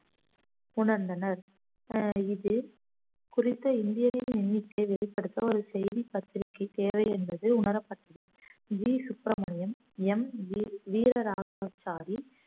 உணர்ந்தனர் அஹ் இது குறித்த இந்தியனின் எண்ணிக்கையை வெளிப்படுத்த ஒரு செய்தி பத்திரிகை தேவை என்பது உணரப்பட்டது V Subramaniam M G Veeraraghavachari